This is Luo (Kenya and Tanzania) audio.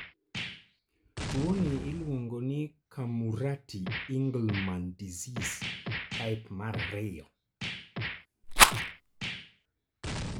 Tuwoni iluongo ni Camurati Engelmann disease type II.